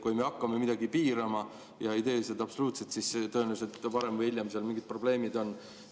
Kui me hakkame midagi piirama ja ei tee seda absoluutselt, siis tõenäoliselt varem või hiljem mingid probleemid tekivad.